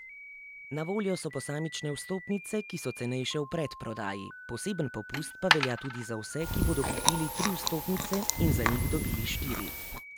Na voljo so posamične vstopnice, ki so cenejše v predprodaji, poseben popust pa velja tudi za vse, ki bodo kupili tri vstopnice in za njih dobili štiri.